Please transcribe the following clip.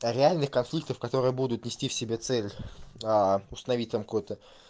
а реальные конфликты которые будут нести в себе цель установить там какой то